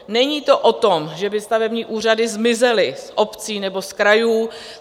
Není to o tom, že by stavební úřady zmizely z obcí nebo z krajů.